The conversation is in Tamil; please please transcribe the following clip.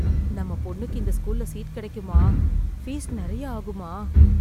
நம்ம பொண்ணுக்கு இந்த ஸ்கூல்ல சீட் கிடைக்குமா? ஃபீஸ் நெறய ஆகுமா?